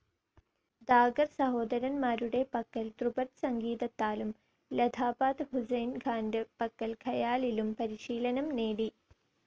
ദാഗർ സഹോദരന്മാരുടെ പക്കൽ ധ്രുപദ് സംഗീതത്താലും ലഥാപാത് ഹുസ്സൈൻ ഖാൻ്റെ പക്കൽ ഖയാലിലും പരിശീലനം നേടി.